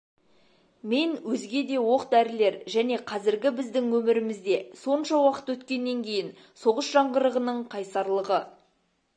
мен өзге де оқ-дәрілер және қазіргі біздің өмірімізде сонша уақыт өткеннен кейін соғыс жаңғырығының қайсарлығы